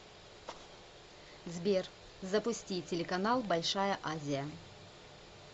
сбер запусти телеканал большая азия